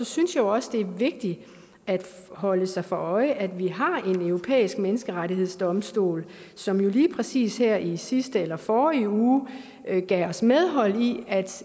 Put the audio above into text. synes også det er vigtigt at holde sig for øje at vi har en europæisk menneskerettighedsdomstol som jo lige præcis her i sidste eller forrige uge gav os medhold i at